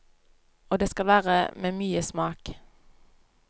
Og det skal være med mye smak.